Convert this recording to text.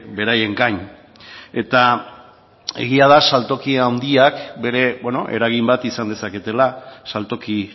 beraien gain eta egia da saltoki handiak bere eragin bat izan dezaketela saltoki